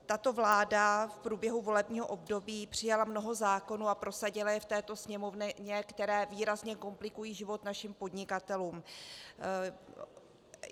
Tato vláda v průběhu volebního období přijala mnoho zákonů, a prosadila je v této Sněmovně, které výrazně komplikují život našim podnikatelům.